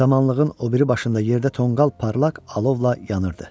Samanlığın o biri başında yerdə tonqal parlaq alovla yanırdı.